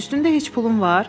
Üstündə heç pulun var?